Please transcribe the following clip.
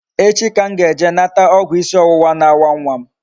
Echi ka m ga-eje nata ogwu isi owuwa na-awa nwa m